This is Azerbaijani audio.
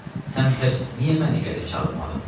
Sən pəs niyə məni gəlib çağırmadın?